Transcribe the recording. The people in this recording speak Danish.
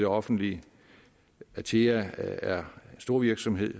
offentlige atea er en storvirksomhed